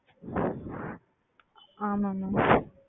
ஆமாம் ஆமாம்